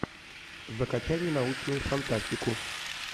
закачай ненаучную фантастику